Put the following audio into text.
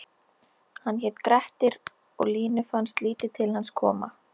Hann hét Grettir og Línu fannst lítið til hans koma